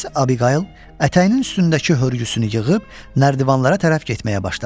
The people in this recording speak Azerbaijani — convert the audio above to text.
Miss Abigale ətəyinin üstündəki hörgüsünü yığıb nərdivanlara tərəf getməyə başladı.